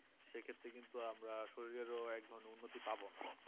সে ক্ষেত্রে কিন্তু আমরা শরীরেরও এক ধরনের উন্নতি পাব না